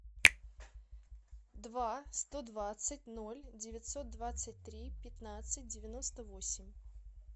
два сто двадцать ноль девятьсот двадцать три пятнадцать девяносто восемь